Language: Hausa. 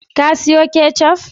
Ka siyo ketchup?